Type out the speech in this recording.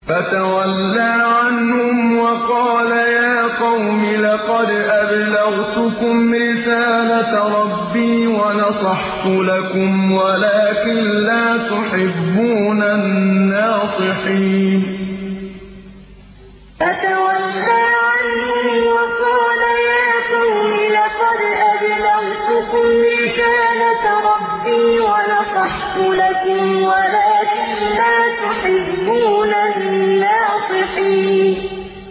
فَتَوَلَّىٰ عَنْهُمْ وَقَالَ يَا قَوْمِ لَقَدْ أَبْلَغْتُكُمْ رِسَالَةَ رَبِّي وَنَصَحْتُ لَكُمْ وَلَٰكِن لَّا تُحِبُّونَ النَّاصِحِينَ فَتَوَلَّىٰ عَنْهُمْ وَقَالَ يَا قَوْمِ لَقَدْ أَبْلَغْتُكُمْ رِسَالَةَ رَبِّي وَنَصَحْتُ لَكُمْ وَلَٰكِن لَّا تُحِبُّونَ النَّاصِحِينَ